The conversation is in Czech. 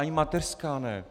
Ani mateřská ne.